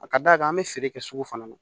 A ka d'a kan an bɛ feere kɛ sugu fana na